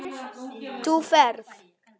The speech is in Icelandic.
Þú ferð.